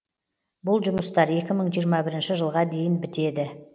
бұл жұмыстар екі мың жиырма бірінші жылға дейін бітеді